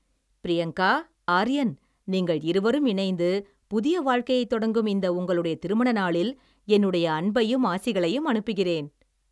பிரியங்கா, ஆர்யன் நீங்கள் இருவரும் இணைந்து புதிய வாழ்க்கையைத் தொடங்கும் இந்த உங்களுடைய திருமண நாளில் என்னுடைய அன்பையும் ஆசிகளையும் அனுப்புகிறேன்.